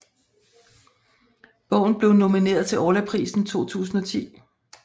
Bogen blev nomineret til Orlaprisen 2010